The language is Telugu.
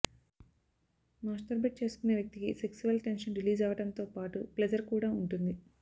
మాస్టర్బేట్ చేసుకునే వ్యక్తికి సెక్సువల్ టెన్షన్ రిలీజ్ అవ్వడం తో పాటూ ప్లెజర్ కూడా ఉంటుంది